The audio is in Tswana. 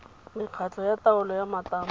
mekgatlho ya taolo ya matamo